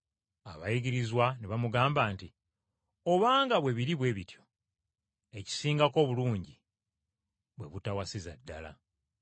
Abayigirizwa ne bamugamba nti, “Obanga bwe biri bwe bityo, ekisingako obulungi bwe butawasiza ddala!”